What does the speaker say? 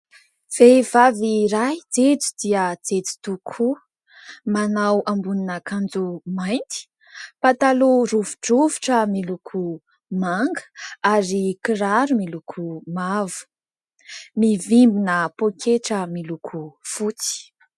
Vehivavy iray jejo dia jejo tokoa. Manao ambonina akanjo mainty, pataloha rovidrovitra miloko manga ary kiraro miloko mavo. Mivimbina poaketra miloko fotsy.